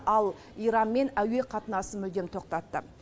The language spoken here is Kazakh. ал иранмен әуе қатынасын мүлдем тоқтатты